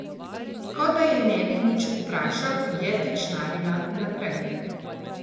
Kot da je ne bi nič vprašal, je tečnarila naprej.